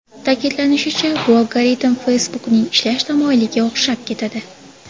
Ta’kidlanishicha, bu algoritm Facebook’ning ishlash tamoyiliga o‘xshab ketadi.